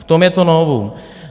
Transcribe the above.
V tom je to novum.